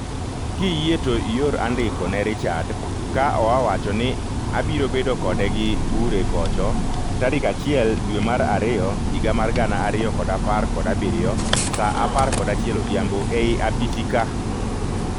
Kiyie to ior andiko ne Richard ka oawacho ni abiro bedo kode gi bure kocho tarik achiel dwe mar ariyo higa mar gana ariyo kod apar kod abirio saa apar kod achiel odhiambo ei apisi ka